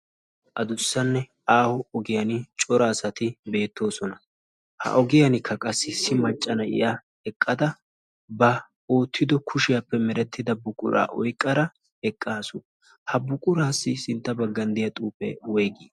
adussanne aaho ogiyan cora asati beettoosona ha ogiyankka qassi issi macca na'iya eqqada ba oottido kushiyaappe merettida buquraa oyqqara eqqaasu ha buquraassi sintta baggan diya xuufe woygii